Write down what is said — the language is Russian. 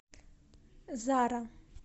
зара